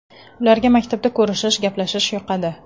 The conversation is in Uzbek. Ularga maktabda ko‘rishish, gaplashish yoqadi.